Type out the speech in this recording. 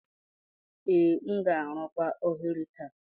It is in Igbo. Ee, m ga-arụkwa oghere taa.